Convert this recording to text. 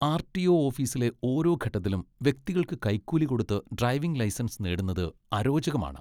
RTO. ഓഫീസിലെ ഓരോ ഘട്ടത്തിലും വ്യക്തികൾക്ക് കൈക്കൂലി കൊടുത്ത് ഡ്രൈവിംഗ് ലൈസൻസ് നേടുന്നത് അരോചകമാണ്.